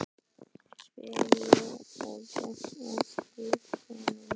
spyr ég og geng að glugganum.